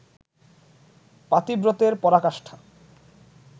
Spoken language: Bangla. পাতিব্রতের পরাকাষ্ঠা